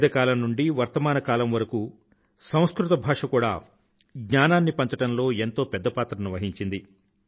వేదకాలం నుండీ వర్తమాన కాలం వరకూ సంస్కృత భాష కూడా జ్ఞానాన్ని పంచడంలో ఎంతో పెద్ద పాత్రను వహించింది